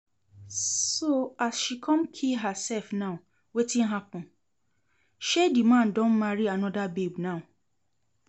So as she come kee herself now wetin happen? shey the man don marry another babe now